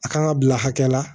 A kan ka bila hakɛ la